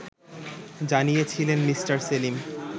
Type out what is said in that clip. জানিয়েছিলেন মি. সেলিম